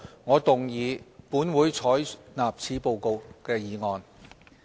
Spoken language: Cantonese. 我動議"本會採納此報告"的議案。